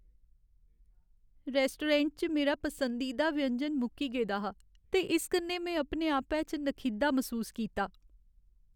Restaurant च मेरा पसंदीदा व्यंजन मुक्की गेदा हा ते इस कन्नै में अपने आपै च नखिद्धा मसूस कीता।